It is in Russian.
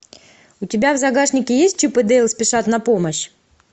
у тебя в загашнике есть чип и дейл спешат на помощь